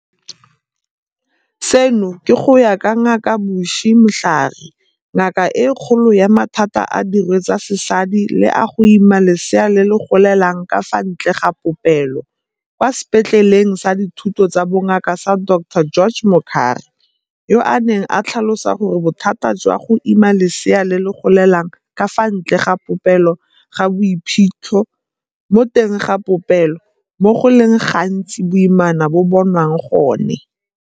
Seno ke go ya ka Ngaka Bushy Mhlari, Ngaka e Kgolo ya Mathata a Dirwe tsa Sesadi le a go Ima Leseana le le Golelang ka fa Ntle ga Popelo kwa Sepetleleng sa Dithuto tsa Bongaka sa Dr George Mukhari, yo a neng a tlhalosa gore bothata jwa go ima leseana le le golelang ka fa ntle ga popelo ga bo iphitlhe mo teng ga popelo, moo go le gantsi boimana bo bonwang gone.